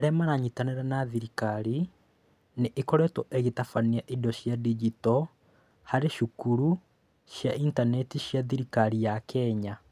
Arĩa maranyitanĩra na thirikari: Nĩ ĩkoretwo ĩgĩtabania indo cia digito harĩ cukuru cia Intaneti cia thirikari ya Kenya.